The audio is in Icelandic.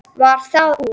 Varð það úr.